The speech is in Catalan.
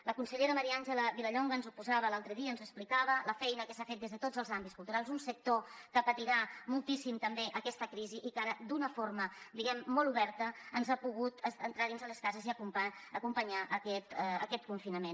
la consellera maria àngela vilallonga ens ho posava l’altre dia ens explicava la feina que s’ha fet des de tots els àmbits culturals un sector que patirà moltíssim també aquesta crisi i que ara d’una forma diguem molt oberta ens ha pogut entrar dins les cases i acompanyar en aquest confinament